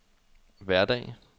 hverdag